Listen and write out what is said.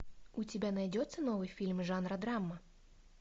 у тебя найдется новый фильм жанра драма